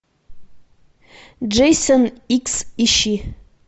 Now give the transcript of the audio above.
джейсон икс ищи